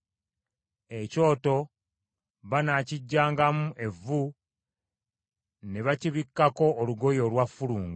Ekyoto banaakiggyangamu evvu ne bakibikkako olugoye olwa ffulungu;